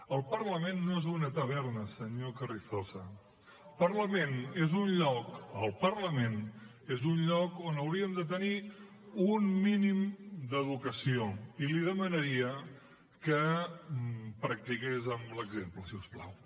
el parlament no és una taverna senyor carrizosa el parlament és un lloc on hauríem de tenir un mínim d’educació i li demanaria que practiqués amb l’exemple si us plau